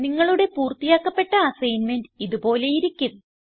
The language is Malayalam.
നിങ്ങളുടെ പൂർത്തിയാക്കപ്പെട്ട അസൈൻമെന്റ് ഇത് പോലെയിരിക്കും